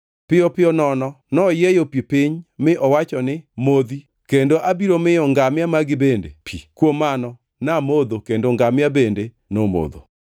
“Piyo piyo nono noyieyo pi piny mi owacho ni, ‘Modhi kendo abiro miyo ngamia magi bende pi.’ Kuom mano namodho, kendo ngamia bende nomodho.